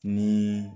Ni